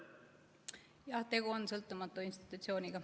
Jah, tegu on sõltumatu institutsiooniga.